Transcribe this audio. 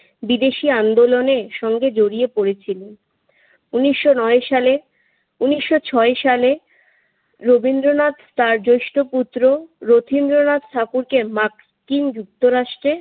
বিদেশি আন্দোলনের সঙ্গে জড়িয়ে পড়েছিলেন। উনিশশো নয় সাল, উনিশশো সাত সালে রবীন্দ্রনাথ তার জেষ্ঠ পুত্র রথীন্দ্রনাথ ঠাকুরকে মার্কিন যুক্তরাষ্ট্রে